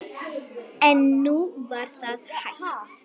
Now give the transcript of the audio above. En nú var það hætt.